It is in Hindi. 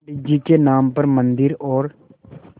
पंडित जी के नाम पर मन्दिर और